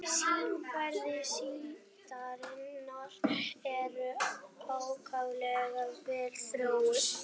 Skynfæri síldarinnar eru ákaflega vel þróuð.